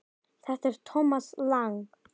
Þetta er Thomas Lang.